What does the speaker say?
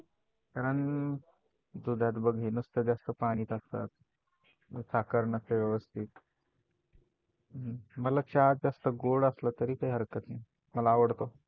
कारण त्यामध्ये नुसतं पाणी असतं साखर नसते व्यवस्थित. मला चहा जास्त गोड असला तरी काय हरकत नाही मला आवडतं.